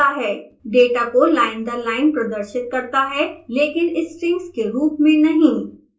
data को line दर line प्रदर्शित करता है लेकिन strings के रूप में नहीं